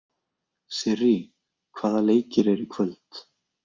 Sirrý, hvaða leikir eru í kvöld?